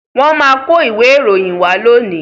Wọ́n máa kó ìwé ìròyìn wá lónìí.